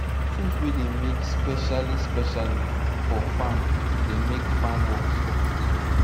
tool wey dey make specially specially for farm dey make farm work soft